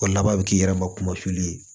O laban bɛ k'i yɛrɛ ma kuma fili ye